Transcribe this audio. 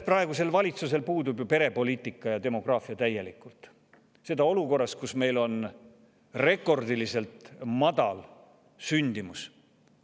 Praegusel valitsusel puudub ju täielikult perepoliitika ja, seda olukorras, kus meil on rekordiliselt madal sündimus.